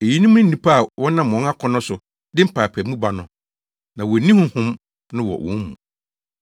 Eyinom ne nnipa a wɔnam wɔn akɔnnɔ so de mpaapaemu ba no. Na wonni Honhom no wɔ wɔn mu.